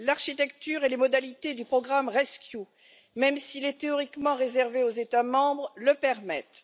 L'architecture et les modalités du programme rescEU, même s'il est théoriquement réservé aux États membres, le permettent.